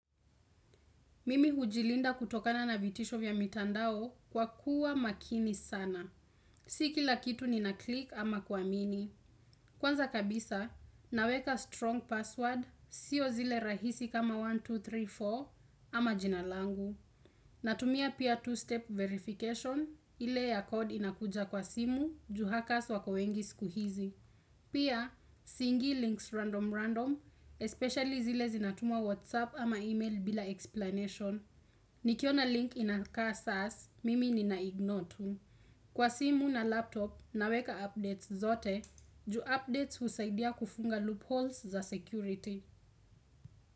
Mimi hujilinda kutokana na vitisho vya mitandao kwa kuwa makini sana. Sikila kitu nina klik ama kuamini. Kwanza kabisa, naweka strong password, sio zile rahisi kama elfu moja na mia mbili na thelathini na nne ama jinalangu. Natumia pia two-step verification, ile ya code inakuja kwa simu, juhakas wako wengi sikuhizi. Pia, si ingi links random random, especially zile zinatumwa whatsapp ama email bila explanation. Nikiona link inakaa sas, mimi ninaignore tu. Kwa simu na laptop, naweka updates zote. Ju updates husaidia kufunga loopholes za security.